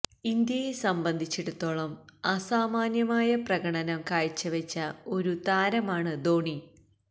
ഇന്ത്യയെ സംബന്ധിച്ചിടത്തോളം അസാമാന്യമായ പ്രകടനം കാഴ്ചവച്ച ഒരു താരമാണ് ധോണി